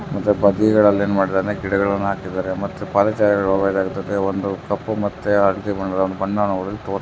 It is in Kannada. ಮತ್ತೆ ಬದಿ ಗಳಲ್ಲಿ ಏನ್ ಮಾಡಿದಾನೆ ಗಿಡಗಳನ್ನು ಹಾಕಿದಾರೆ ಮತ್ತೆ ಪಾದಾಚಾರಿಗ ಹೋಗುವ ಜಾಗಕ್ಕೆ ಒಂದು ಕಪ್ಪು ಮತ್ತೆ ಹಳದಿ ಬಣ್ಣದ ಒಂದು ಬಣ್ಣವನ್ನು ಹೊಡೆದು--